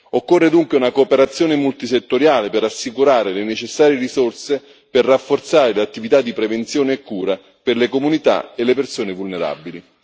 Occorre dunque una cooperazione multisettoriale per assicurare le necessarie risorse per rafforzare le attività di prevenzione e cura per le comunità e le persone vulnerabili.